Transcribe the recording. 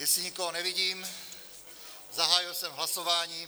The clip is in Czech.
Jestli nikoho nevidím, zahájil jsem hlasování.